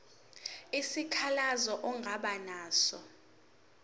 isikhalazo ongaba naso